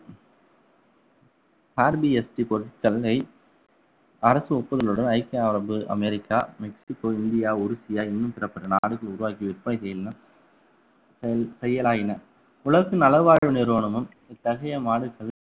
rBST பொருட்களை அரசு ஒப்புதலுடன் ஐக்கிய அரபு அமெரிக்கா மெக்ஸிகோ இந்தியா ஒடிஸியா இன்னும் பிறப்பட்ட நாடுகள் உருவாக்கி விற்பனை செய்யும்ன்னா~ செ~ செயலாயின உலக நலவாழ்வு நிறுவனமும் இத்தகைய